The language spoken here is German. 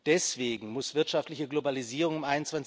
Deswegen muss wirtschaftliche Globalisierung im